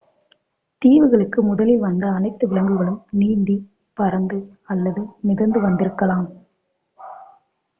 தீவுகளுக்கு முதலில் வந்த அனைத்து விலங்குகளும் நீந்தி பறந்து அல்லது மிதந்து வந்திருக்கலாம்